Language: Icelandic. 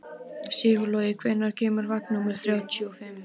Sigurlogi, hvenær kemur vagn númer þrjátíu og fimm?